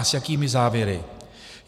A s jakými závěry?